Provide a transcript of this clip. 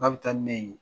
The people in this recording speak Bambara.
K'a bɛ taa ni ne ye